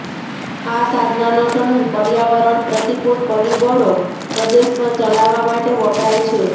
આ સાધનો સમૂહ પર્યાવરણ પ્રતિકૂળ પરિબળો પ્રદેશ પર ચલાવવા માટે વપરાય છે